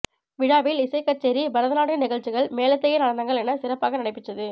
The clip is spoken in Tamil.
விழாவில் இசைக்கச்சேரி பரதநாட்டிய நிகழ்ச்சிகள் மேலைத்தேய நடனங்கள் என சிறப்பாக நடைபெற்றது